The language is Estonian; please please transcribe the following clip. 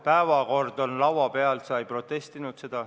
Päevakord on laua peal, sa ei protestinud.